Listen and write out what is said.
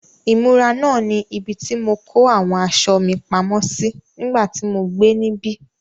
Ìmúra náà ni ibi tí mo kó àwọn aṣọ mi pamọ́ sí nígbà tí mo gbé níbí.